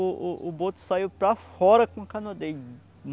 O o o boto saiu para fora com dele.